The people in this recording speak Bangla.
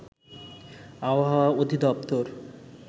আবহাওয়া অধিদপ্তর